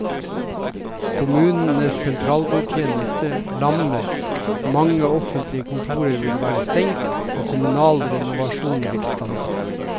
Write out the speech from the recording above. Kommunenes sentralbordtjeneste lammes, mange offentlige kontorer vil være stengt og kommunal renovasjon vil stanse.